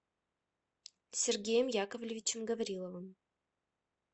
сергеем яковлевичем гавриловым